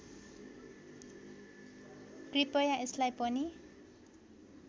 कृपया यसलाई पनि